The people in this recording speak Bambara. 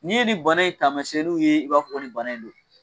N'i ye ni bana in tamasiɲɛn n'u ye, i b'a fɔ ni bana in don.